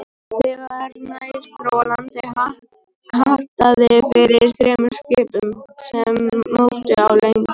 Þegar nær dró landi, hattaði fyrir þremur skipum, sem móktu á legunni.